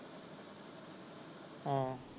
ਆ।